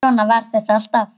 Svona var þetta alltaf.